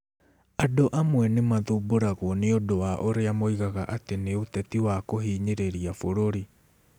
Andũ amwe nĩ mathumbũragwo nĩ ũndũ wa ũrĩa moigaga atĩ nĩ ũteti wa kũhinyĩrĩria bũrũri.